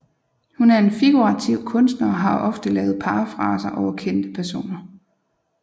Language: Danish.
Hun er en figurativ kunstner og har ofte lavet parafraser over kendte personer